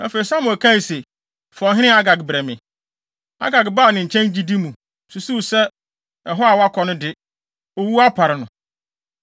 Afei, Samuel kaa se, “Fa ɔhene Agag brɛ me.” Agag baa ne nkyɛn gyidi mu, susuw sɛ ɛhɔ a wakɔ no de, owu apare no.